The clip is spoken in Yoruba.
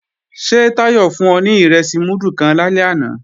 Ṣé Táyọ̀ fún ọ ní ìrẹsì múdù kan lálẹ́ àná